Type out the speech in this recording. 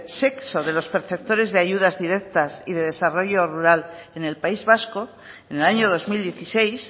sexo de los perceptores de ayudas directas y de desarrollo rural en el país vasco en el año dos mil dieciséis